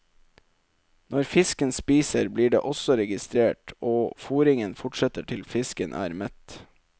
Når fisken spiser, blir det også registrert, og fôringen fortsetter til fisken er mett.